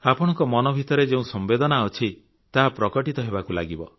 ଆପଣଙ୍କ ମନ ଭିତରେ ଯେଉଁ ସମ୍ବେଦନା ଅଛି ତାହା ପ୍ରକଟିତ ହେବାକୁ ଲାଗିବ